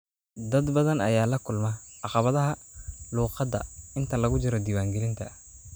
Dad badan ayaa la kulma caqabadaha luqadda inta lagu jiro diiwaangelinta.